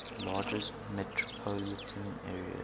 largest metropolitan areas